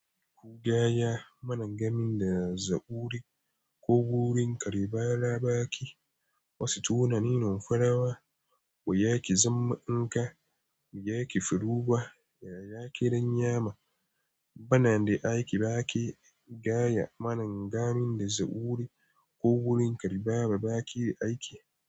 Gaya maangamin da zaburi ko wurin karibara baƙi, wasu tunaninun farawa, ba ya ƙi zama in ka biya ƙi firugwa. Yaya ƙiran yama bana de aiki, baƙi gaya maningamin da zaburi ko wurin karibawa baƙi aiki.